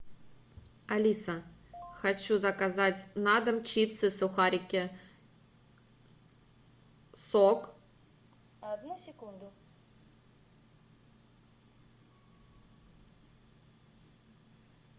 алиса хочу заказать на дом чипсы сухарики сок